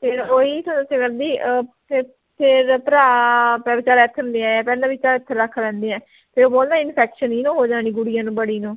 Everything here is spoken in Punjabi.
ਫੇਰ ਓਹੀ ਤੇ ਦੱਸਿਆ ਕਰਦੀ ਅਹ ਫੇ ਫੇਰ ਭਰਾ ਪਰ ਚਲ ਇਥੇ ਨੂੰ ਲੈ ਆਇਆ ਪਹਿਲਾਂ ਵੀ ਚਲ ਇਥੇ ਰੱਖ ਲੈਂਦੇ ਐ ਫੇਰ ਬੋਲੇ infection ਇਹਨੂੰ ਹੋ ਜਾਣੀ ਗੁੜੀਆ ਨੂੰ ਬੜੀ ਨੂੰ